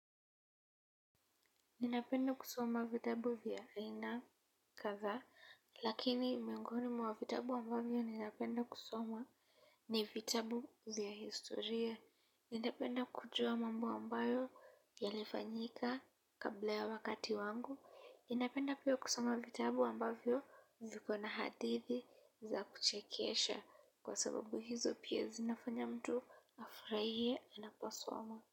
Ninapenda kusoma vitabu vya aina kadhaa, lakini miongoni mwa vitabu ambavyo ninapenda kusoma ni vitabu vya historia. Ningependa kujua mambo amabayo yalifanyika kabla ya wakati wangu. Ninapenda pia kusoma vitabu ambavyo viko na hadithi za kuchekesha kwa sababu hizo pia zinafanya mtu afurahie anaposoma.